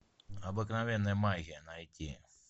обыкновенная магия найти